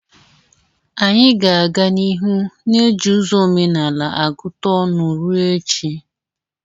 Anyị ga-aga n'ihu na-eji ụzọ omenala agụta ọnụ ruo echi.